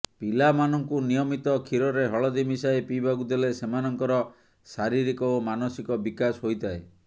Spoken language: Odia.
ପିଲାମାନଙ୍କୁ ନିୟମିତ କ୍ଷୀରରେ ହଳଦୀ ମିଶାଇ ପିଇବାକୁ ଦେଲେ ସେମାନଙ୍କର ଶାରିରୀକ ଓ ମାନସିକ ବିକାଶ ହୋଇଥାଏ